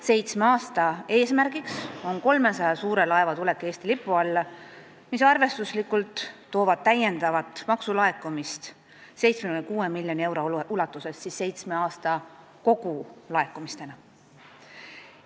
Seitsme aasta eesmärk on 300 suure laeva tulek Eesti lipu alla, mis toob arvestuslikult kaasa täiendava maksulaekumise 76 miljoni euro ulatuses seitsme aasta kogulaekumistena.